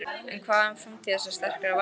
En hvað um framtíð þessa sterka varnarmanns?